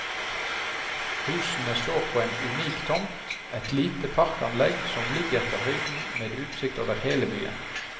Husene står på en unik tomt, et lite parkanlegg som ligger på høyden med utsikt over hele byen.